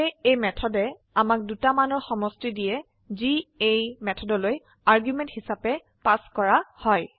সেয়ে এই মেথডে আমাক দুটা মানৰ সমষ্টি দিয়ে যি এই মেথডলৈ আৰ্গুমেন্ট হিসাবে পাস কৰা হয়